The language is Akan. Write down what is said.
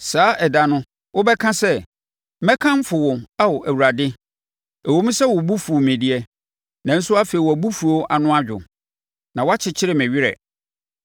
Saa ɛda no, wobɛka sɛ: “Mɛkamfo wo Ao Awurade! Ɛwom sɛ wo bo fuu me deɛ, nanso afei wʼabofuo ano adwo. Na woakyekyere me werɛ.